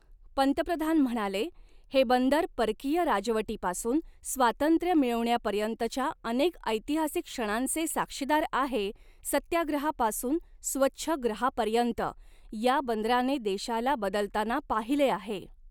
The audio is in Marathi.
पंतप्रधान म्हणाले, हे बंदर परकीय राजवटीपासून स्वातंत्र्य मिळवण्यापर्यंतच्या अनेक ऐतिहासिक क्षणांचे साक्षीदार आहे सत्याग्रहापासून स्वच्छग्रहापर्यंत, या बंदराने देशाला बदलताना पाहिले आहे.